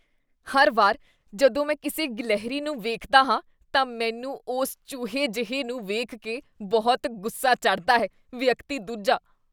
ਹਰ ਵਾਰ ਜਦੋਂ ਮੈਂ ਕਿਸੇ ਗਿਲਹਰੀ ਨੂੰ ਵੇਖਦਾ ਹਾਂ, ਤਾਂ ਮੈਨੂੰ ਉਸ ਚੂਹੇ ਜਿਹੇ ਨੂੰ ਵੇਖ ਕੇ ਬਹੁਤ ਗੁੱਸਾ ਚੜ੍ਹਦਾ ਹੈ ਵਿਅਕਤੀ ਦੂਜਾ